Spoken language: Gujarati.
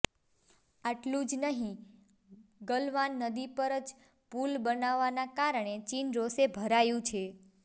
આટલું જ નહીં ગલવાન નદી પર જ પુલ બનવાના કારણે ચીન રોષે ભરાયું છે